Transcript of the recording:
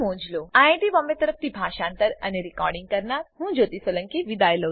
IIT Bombay તરફથી હું જ્યોતી સોલંકી વિદાય લઉં છું